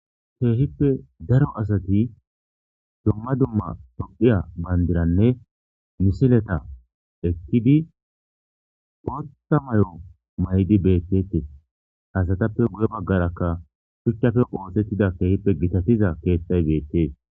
Keehippe daro asati dumma dumma tophiya bandiranne misileta ekkidi potta may'o maydi beettetes hasatappe guye baggarakka shuchchafe oosettida keehippe gitatiza keettay beettees.